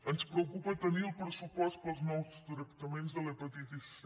ens preocupa tenir el pressupost per als nous tractaments de l’hepatitis c